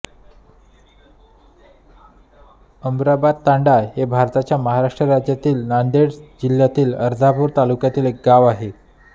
अमराबादतांडा हे भारताच्या महाराष्ट्र राज्यातील नांदेड जिल्ह्यातील अर्धापूर तालुक्यातील एक गाव आहे